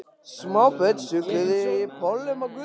Smábörnin sulluðu í pollum á götunni.